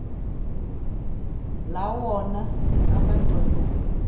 la wona amadoda